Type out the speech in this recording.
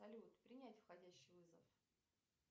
салют принять входящий вызов